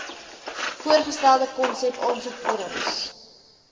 voorgestelde konsep aansoekvorms